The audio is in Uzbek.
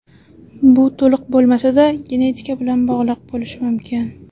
Bu, to‘liq bo‘lmasa-da, genetika bilan bog‘liq bo‘lishi mumkin.